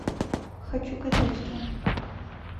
хочу кадетство